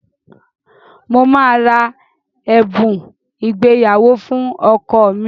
Mo máa ra ẹ̀bùn ìgbéyàwó fún ọkọ mi.